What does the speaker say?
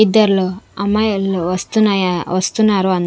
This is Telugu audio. ఇద్దర్లో అమ్మాయిల్లో వస్తున్నాయా వస్తున్నారు అం--